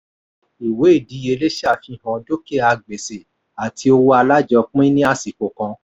ìwé ìdíyelé ṣàfihàn dúkìá gbèsè àti owó alájọpín ní àsìkò kan.